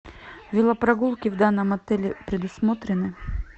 велопрогулки в данном отеле предусмотрены